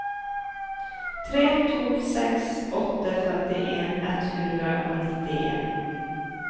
tre to seks åtte femtien ett hundre og nittien